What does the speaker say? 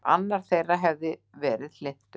Annar þeirra hefði verið hlynntur